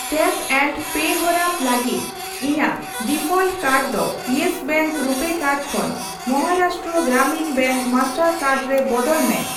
Tap and pay ᱦᱚᱨᱟ ᱞᱟᱹᱜᱤᱫ ᱤᱧᱟ.ᱜ ᱰᱤᱯᱷᱚᱞᱴ ᱠᱟᱨᱰ ᱫᱚ ᱤᱭᱮᱥ ᱵᱮᱝᱠ ᱨᱩᱯᱮ ᱠᱟᱨᱰ ᱠᱷᱚᱱ Maharashtra Gramin bank Mastercard ᱨᱮ ᱵᱚᱫᱚᱞ ᱢᱮ ᱾